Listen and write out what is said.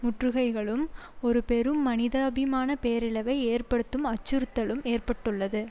முற்றுகைகளும் ஒரு பெரும் மனிதாபிமான பேரிழவை ஏற்படுத்தும் அச்சுறுத்தலும் ஏற்பட்டுள்ளது